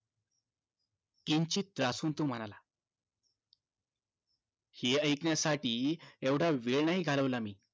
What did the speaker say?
किंचित त्रासून तो म्हणाला हे ऐकण्यासाठी एवढा वेळ नाही घालवला मी